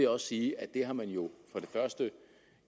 også sige at det har man jo